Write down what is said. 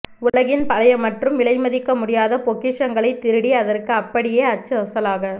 உலகின் பழைய மற்றும் விலை மதிக்க முடியாத பொக்கிஷங்களைத் திருடி அதற்கு அப்படியே அச்சு அசலாக